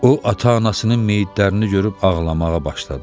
O ata-anasının meyitlərini görüb ağlamağa başladı.